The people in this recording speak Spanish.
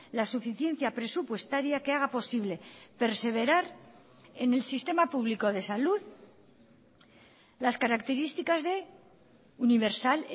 la suficiencia presupuestaria que haga posible perseverar en el sistema público de salud las características de universal